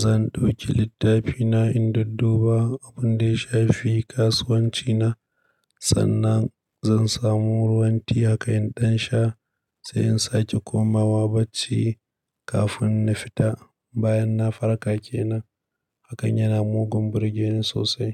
zan ɗauki littafina in dadduba abun da ya shafi kasuwancina. Sannan zan samu ruwan tie haka in sha, sai in sake komawa barci kafin na fita. Bayan na farka kenan, hakan yana mugun burgeni sosai.